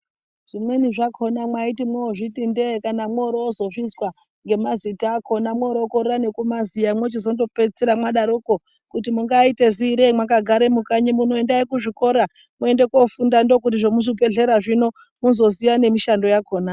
Zvimweni zvakona mwaiti mwozviti ndee kana mworozozvizwa ngemazita akona mworokorere nekumaziya mochizondopedzisira mwadaroko kuti mungaita ziirei makagare mukanyi muno endai kuzvikora muende kofunda ndokuti zvemuzvibhedhleya zvino muzoziya nemushando yakona.